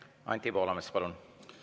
Anti Poolamets, palun!